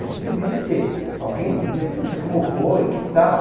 A gente deveria ter alguém dizer, poxa, como foi, que tal?